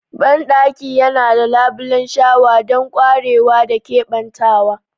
Bandakin yana da labulen shawa don ƙwarewa da keɓantawa.